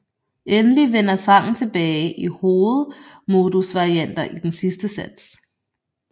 Endelig vender sangen tilbage i hovedmodusvarianter i den sidste sats